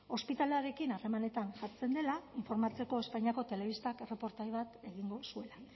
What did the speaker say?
ospitalearekin harremanetan jartzen dela informatzeko espainiako telebistak erreportaje bat egingo zuela